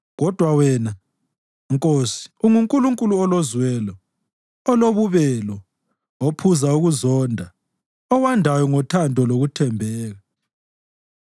Kodwa wena, Nkosi, unguNkulunkulu olozwelo, olobubelo, ophuza ukuzonda, owandayo ngothando lokuthembeka.